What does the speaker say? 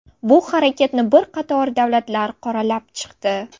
Bu harakatni bir qator davlatlar qoralab chiqdi.